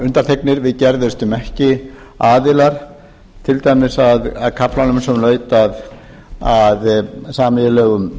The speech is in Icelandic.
undanþegnir við gerðumst ekki aðilar til dæmis að kaflanum sem laut að sameiginlegum